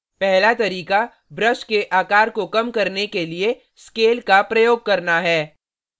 पहला तरीका brush के आकार को कम करने के लिए scale का प्रयोग करना है